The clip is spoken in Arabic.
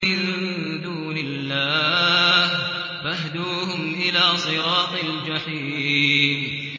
مِن دُونِ اللَّهِ فَاهْدُوهُمْ إِلَىٰ صِرَاطِ الْجَحِيمِ